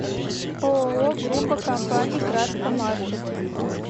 ооо группа компаний краска маркет